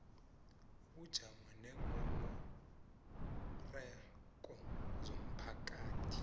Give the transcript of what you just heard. ubujamo neenghonghoreko zomphakathi